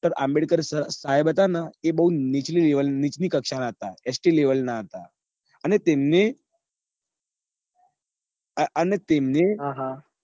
બ doctor બઉ નીચલી level બઉ નીચલી કક્ષા ના હતા st હતા અને તેમને અને તેમને હા હા